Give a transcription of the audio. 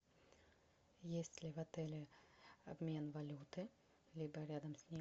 есть ли в отеле обмен валюты либо рядом с ним